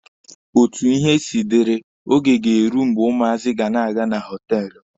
Otu ihe siri dịrị, Oge ga-eru mgbe ụmụazị ga na-aga na họtelụ.